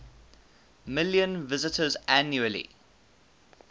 million visitors annually